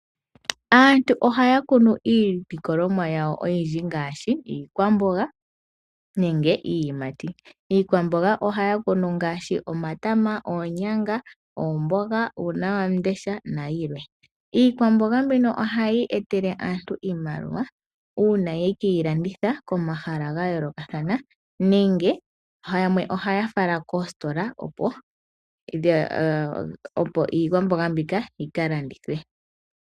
Aantu ohaya kunu iilikolomwa yawo oyindji ngaashi iikwamboga nenge iiyimati. Iikwamboga ohaya kunu ngaashi omatama, oonyanga, omboga, uunawamundesha nayilwe. Iikwamboga mbino ohayi etele aantu iimaliwa uuna ye ke yi landitha komahala ga yoolokathana. Yamwe ohaya fala koositola, opo iikwamboga mbika yi ka landithwe.